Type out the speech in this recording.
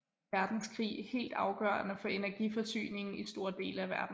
Verdenskrig helt afgørende for energiforsyningen i store dele af verden